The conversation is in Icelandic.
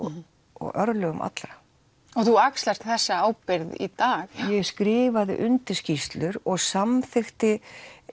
og örlögum allra og þú axlar þessa ábyrgð í dag ég skrifaði undir skýrslur og samþykkti